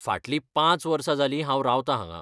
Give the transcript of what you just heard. फाटलीं पांच वर्सां जालीं हांव रावतां हांगां.